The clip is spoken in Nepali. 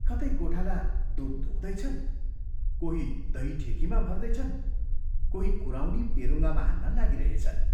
कतै गोठाला दूध दुहुँदै छन्, कोही दही ठेकीमा भर्दैछन्, कोही कुराउनी पेरुङ्गामा हाल्न लागिरहेछन्।